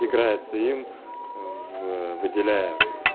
играется им в выделяя